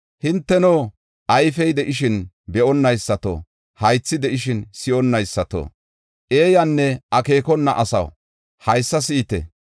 Hinteno, ayfey de7ishin be7onaysato, haythi de7ishin si7onnaysato, eeyanne akeekona asaw haysa si7ite!